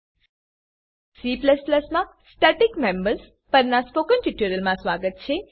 C માં static members static members પરનાં spoken ટ્યુટોરીયલમાં સ્વાગત છે